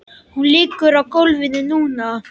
Hún liggur á gólfinu núna.